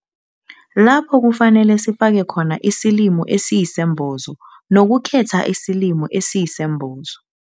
Lapho kufanele sifaka khona isilimo esiyisembozo nokukhetha isilimo esiyisembozo